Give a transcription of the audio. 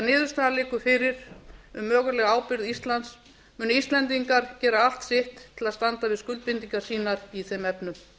niðurstaðan liggur fyrir um mögulega ábyrgð íslands munu íslendingar gera allt sitt til að standa við skuldbindingar sínar í þeim efnum